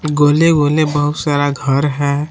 गोले गोले बहुत सारा घर है